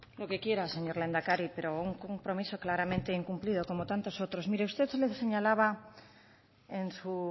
lo que quiera señor lehendakari pero un compromiso claramente incumplido como tantos otros mire usted señalaba en su